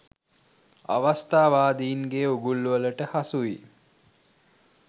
අවස්ථාවාදීන්ගේ උගුල්වලට හසු වී